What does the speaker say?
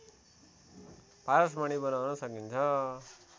पारसमणि बनाउन सकिन्छ